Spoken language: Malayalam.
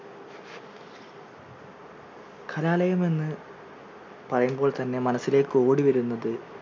കലാലയം എന്ന് പറയുമ്പോൾ തന്നെ മനസ്സിലേക്ക് ഓടി വരുന്നത്,